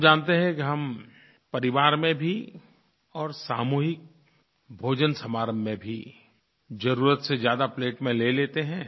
हम जानते हैं कि हम परिवार में भी और सामूहिक भोजन समारोह में भी ज़रूरत से ज़्यादा प्लेट में ले लेते हैं